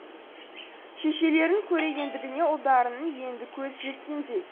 шешелерінің көрегендігіне ұлдарының енді көзі жеткендей